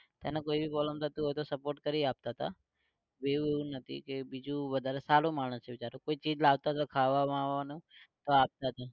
એને કોઈ બી problem થતું હોય તો support કરી આપતા હતા. એવું એવું નથી કે બીજું વધારે સારો માણસ છે બિચારો કોઈ ચીજ લાવતો હતો ખાવા વાવામાં તો આપતા હતા.